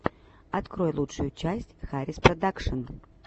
открой лучшую часть хариспродакшн